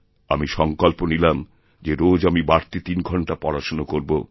আমি সঙ্কল্প নিলামযে রোজ আমি বাড়তি তিন ঘন্টা পড়াশুনো করব